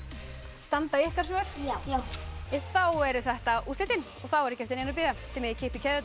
standa ykkar svör já þá eru þetta úrslitin þá er ekki eftir neinu að bíða þið megið kippa í keðjurnar